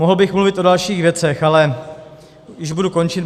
Mohl bych mluvit o dalších věcech, ale již budu končit.